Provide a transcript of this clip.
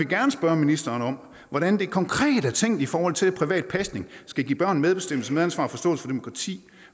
gerne spørge ministeren om hvordan det konkret er tænkt i forhold til at privat pasning skal give børn medbestemmelse medansvar og forståelse for demokrati